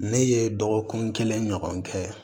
Ne ye dɔgɔkun kelen ɲɔgɔn kɛ